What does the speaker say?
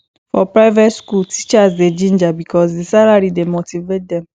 for private skool teachers dey ginger because di salary dey motivate dem